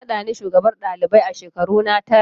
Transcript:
An nada ni shugabar ɗalibai a shekaruna tara.